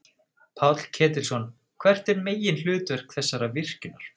Páll Ketilsson: Hvert er meginhlutverk þessara virkjunar?